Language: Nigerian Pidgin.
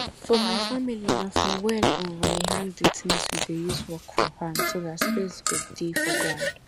for my family na for wall um we hang di tins we dey use work for farm so dat space go dey for ground